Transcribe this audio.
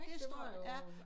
Det står jo